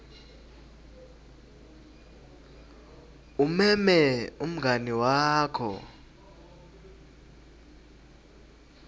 umeme umngani wakho